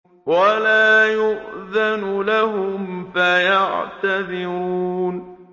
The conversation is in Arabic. وَلَا يُؤْذَنُ لَهُمْ فَيَعْتَذِرُونَ